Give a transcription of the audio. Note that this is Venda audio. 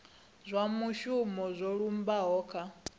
zwa muvhuso zwo lumbaho kha